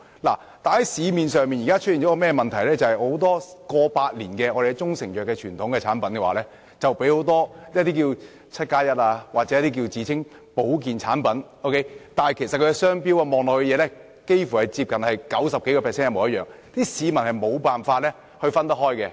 現時市面上出現一個問題，不少擁有過百年傳統的中成藥產品被很多 "1+7" 或自稱保健產品模仿，它們的商標驟眼看幾乎超過九成相同，市民根本無法分辨。